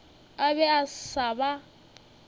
a be a sa ba